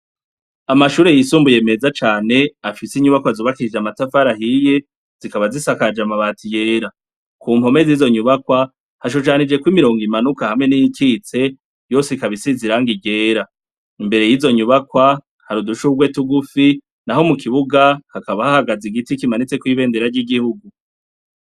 Amashure yisumbuye meza cane afise inyubako azubakirije amatafarahiye zikaba zisakaje amabati yera ku mpome zizonyubakwa hashushanijeko imirongo imanuka hamwe n'ikitse yosikabaisi ziranga irera imbere yizo nyubakwa harudushubweti ugufi na ho mu kibuga hakaba hahagaze igiti kimanitse kwibendae rajya igihugu.